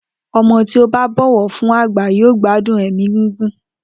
O̩mo̩ tí ó bá bò̩wò̩ fún àgbà yóò gbádùn è̩mí gígùn